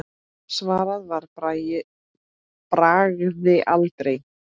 Svarað var að bragði: aldrei.